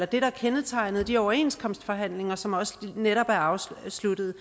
det der kendetegnede de overenskomstforhandlinger som netop er afsluttet